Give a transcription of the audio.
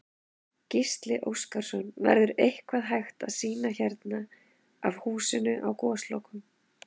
Gísli Óskarsson: Verður eitthvað hægt að sýna hérna af húsinu á Goslokunum?